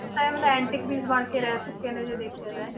time ਦਾ antique piece ਬਣਕੇ ਰਹਿ ਚੁੱਕੇ ਨੇ ਜੇ ਦੇਖਿਆ ਜਾਏ